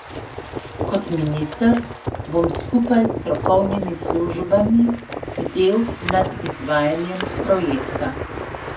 Kot minister bom skupaj s strokovnimi službami bdel nad izvajanjem projekta.